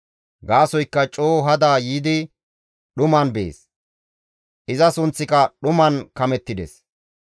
Gaasoykka coo hada yiidi dhuman bees; iza sunththika dhuman kamettides.